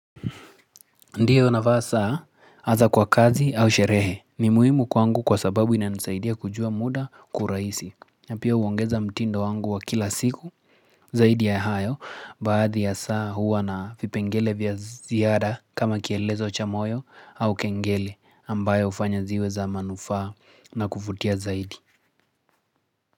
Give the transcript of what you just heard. Ndiyo navaa saa, aza kwa kazi au sherehe, ni muhimu kwangu kwa sababu ina nisaidia kujua muda kwa uraisi. Napia uongeza mtindo wangu wa kila siku, zaidi ya hayo, baadhi ya saa huwa na vipengele vya ziara kama kielezo chamoyo au kengele ambayo ufanya ziweza manufaa na kuvutia zaidi.